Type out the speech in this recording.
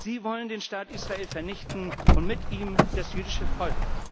Sie wollen den Staat Israel vernichten und mit ihm das jüdische Volk.